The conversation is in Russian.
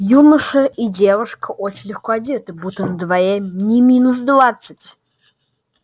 юноша и девушка очень легко одетые будто на дворе не минус двадцать